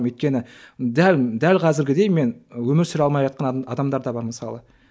өйткені дәл дәл қазіргідей мен өмір сүре алмайатқан адамдар да бар мысалы